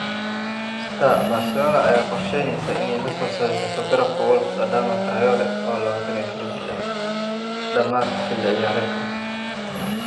(Star) Barcelona ayaa qorsheyneysa inay lasoo saxiixato garabka Wolves Adama Traore, oo 24 jir ah, dhamaadka xilli ciyaareedkan.